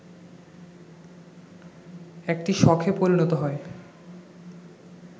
একটি শখে পরিণত হয়